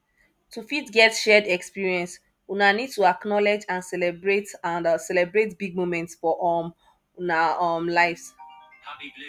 to fit get shared expeience una need to acknowlege and celebrate and celebrate big moments for um una um lives